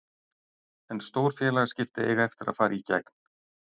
En stór félagsskipti eiga eftir að fara í gegn.